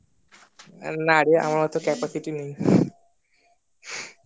না রে আমার এত capacity নেই